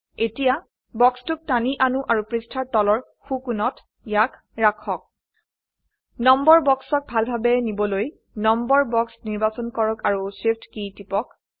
এতিয়া বাক্সটোক টানি আনো আৰু পৃষ্ঠাৰ তলৰ সো কোনত ইয়াক ৰাখক নম্বৰ বক্সক ভালভাবে নিবলৈ নম্বৰ বক্স নিৰ্বাচন কৰক আৰু শিফট কী টিপক